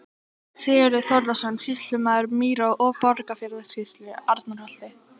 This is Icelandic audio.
Sigurður Þórðarson, sýslumaður Mýra- og Borgarfjarðarsýslu, Arnarholti.